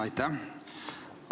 Aitäh!